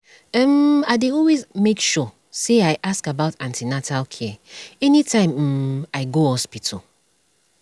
um i dey always make sure i ask about an ten atal care anytime um i go hospital